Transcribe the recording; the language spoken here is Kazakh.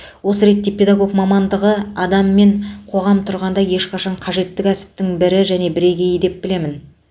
осы ретте педагог мамандығы адам мен қоғам тұрғанда ешқашан қажетті кәсіптің бірі және бірегейі деп білемін